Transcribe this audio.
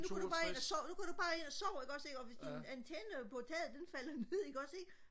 nu går du bare ind og sover nu går du bare ind og sover ikke også ikke og hvis din antenne på taget den falder ned ikke også ikke